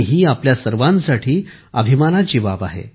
ही आपल्या सर्वांसाठी अभिमानाची बाब आहे